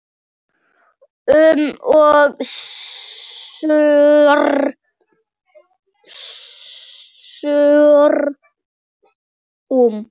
um og snúrum.